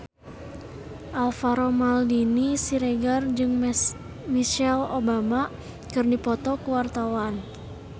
Alvaro Maldini Siregar jeung Michelle Obama keur dipoto ku wartawan